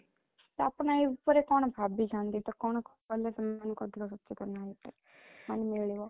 ତ ଆପଣ ଏଇ ଉପରେ କଣ ଭାବିଛନ୍ତି ତ କଣ କଲେ ସେମାନଙ୍କ ମାନେ ମିଳିବ